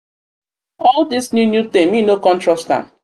all this new new thing me no come trust am. am.